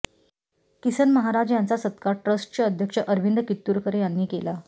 किसन महाराज यांचा सत्कार ट्रस्टचें अध्यक्ष अरविंद कित्तुरकर यांनी केला